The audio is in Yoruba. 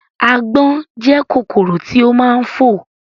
Àgbọ̀n jẹ́ kòkòrò tí ó máa ń fò